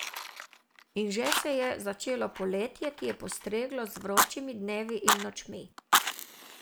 In že se je začelo poletje, ki je postreglo z vročimi dnevi in nočmi.